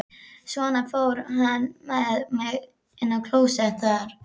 Svo fór hann með mig inn á klósett þar.